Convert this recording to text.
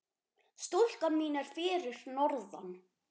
Stúlkan mín er fyrir norðan.